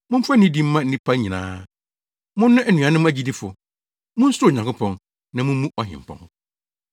Momfa nidi mma nnipa nyinaa. Monnɔ anuanom agyidifo. Munsuro Onyankopɔn, na mummu Ɔhempɔn.